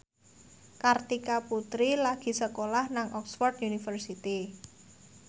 Kartika Putri lagi sekolah nang Oxford university